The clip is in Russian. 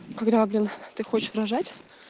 когда блин ты хочешь рожать